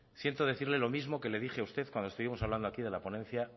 siento decirle lo mismo que le dije a usted cuando estuvimos hablando aquí de la ponencia